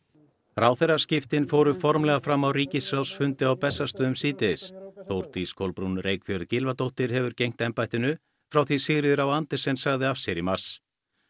ráðherraskiptin fóru formlega fram á ríkisráðsfundi á Bessastöðum síðdegis Þórdís Kolbrún Reykfjörð Gylfadóttir hefur gegnt embættinu frá því Sigríður á Andersen sagði af sér í mars